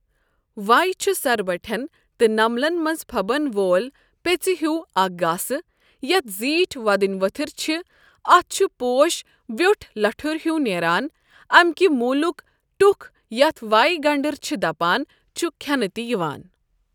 وَے چھُ سر بٹھؠن تہٕ نمبلن مَنٛز پھبن وول پیٚژِ ہیُو اَکھ گاسہٕ یَتھ زیٖٹھؠ وۄدنی ؤتھٕر چھِ اَتھ چھُ پوش ویٛۆٹھ لَٹھُر ہیُٛو نیران امہ کہ موٗلک ٹُکھ یَتھ وَے گنڈٕر چھٕ دپان چھُ کھؠنہ تہِ یِوان۔